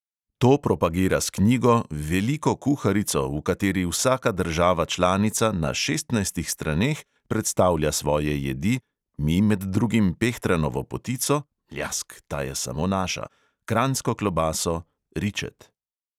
To propagira s knjigo, veliko kuharico, v kateri vsaka država članica na šestnajstih straneh predstavlja svoje jedi, mi med drugim pehtranovo potico (mljask, ta je samo naša), kranjsko klobaso, ričet ...